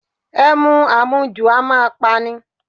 Ẹmu àmujù a máa pa ni.